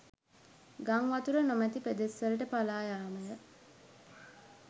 ගංවතුර නොමැති පෙදෙස් වලට පලායාමය